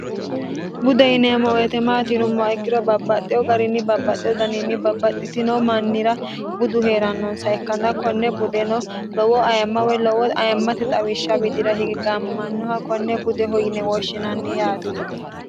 budde yineemmo weete maati yinummoha ikkiro babbaxxewo garinni babbaxxeho daniinni babbaxxitino mannira budu hee'rannonsa ikkanna konne budeno lowo ayemma woy lowo ayemmate xawishsha widira hige gaammamannoha konne budeho yine wooshshinanni yaati